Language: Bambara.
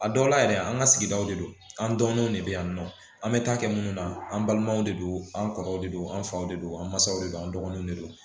A dɔw la yɛrɛ an ka sigidaw de don an dɔgɔninw de bɛ yan nɔ an bɛ taa kɛ minnu na an balimaw de don an kɔrɔw de don an faw de don an mansaw de don an dɔgɔninw de don